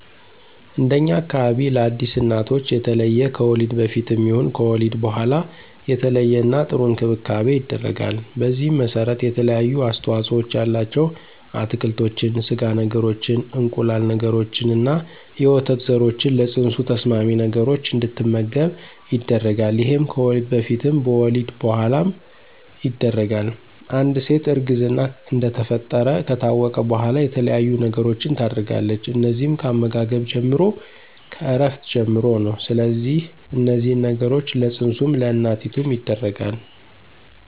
እንደኛ አካባቢ ለአዲስ እናቶች የተለየ ከወሊድ በፊትም ይሁን ከወሊድ በኋላ የተለየና ጥሩ እንክብካቤ ይደረጋል። በዚህም መሰረት የተለያዩ አስተዋፅኦ ያላቸው አትክልቶችን፣ ስጋ ነገሮችን፣ እንቁላል ነገሮችንና የወተት ዘሮችን ለፅንሱ ተስማሚ ነገሮች እንድትመገብ ይደረጋል ይሄም ከወሊድ በፊትም በወሊድ በኋላም ይደረጋል፣ አንድ ሴት እርግዝና እንደተፈጠረ ከታወቀ በኋላ የተለያየ ነገሮችን ታደርጋለች እነዚህም ከአመጋገብ ጀምሮ፣ ከእረፍት ጀምሮ ነው ስለዚህ እነዚህን ነገሮች ለፅንሱም ለእናቲቱም ይደረጋል።